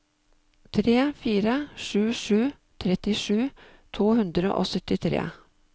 tre fire sju sju trettisju to hundre og syttitre